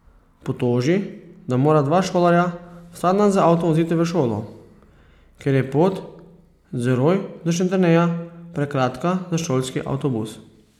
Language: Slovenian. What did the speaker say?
Potoži, da mora dva šolarja vsak dan z avtom voziti v šolo, ker je pot z Roj do Šentjerneja prekratka za šolski avtobus.